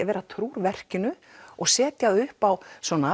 vera trúr verkinu og setja það upp á